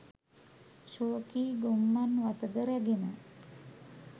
ශෝකී ගොම්මන් වතද රැගෙන